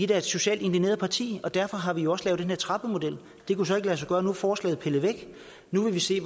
da et socialt indigneret parti og derfor har vi jo også lavet den her trappemodel det kunne så ikke lade sig gøre nu forslaget er pillet væk nu må vi se